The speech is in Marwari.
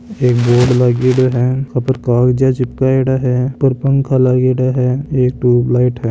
एक बोर्ड लगेडो है ऊपर कागजया चिपकैड़ा है ऊपर पंखा लगेडा है एक ट्यूप लाइट है।